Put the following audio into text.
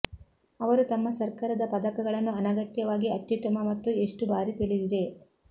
ಅವರು ತಮ್ಮ ಸರ್ಕಾರದ ಪದಕಗಳನ್ನು ಅನಗತ್ಯವಾಗಿ ಅತ್ಯುತ್ತಮ ಮತ್ತು ಎಷ್ಟು ಬಾರಿ ತಿಳಿದಿದೆ